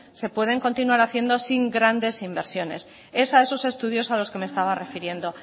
se pueden continuar haciendo sin grandes inversiones es a esos estudios a los que me estaba refiriendo